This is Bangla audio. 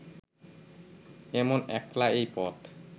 এমন একলা এই পথ